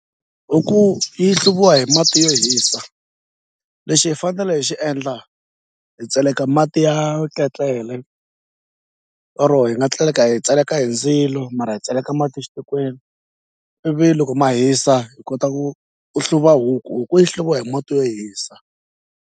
Huku yi hluviwa hi mati yo hisa lexi hi fanele hi xi endla hi tseleka mati ya ketlele or hi nga hi tseleka hi ndzilo mara hi tseleka mati xitikweni ivi loko ma hisa hi kota ku ku hluva huku huku yi hluviwa hi mati yo hisa.